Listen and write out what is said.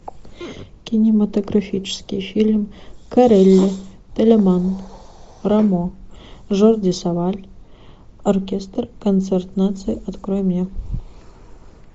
кинематографический фильм корелли телеман рамо жорди саваль оркестр концерт наций открой мне